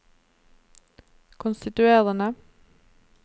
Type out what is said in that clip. konstituerende